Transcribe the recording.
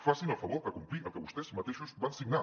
facin el favor de complir el que vostès mateixos van signar